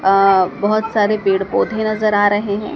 अ बहोत सारे पेड़ पौधे नजर आ रहे हैं।